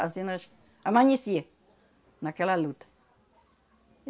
Assim nós amanhecia naquela luta.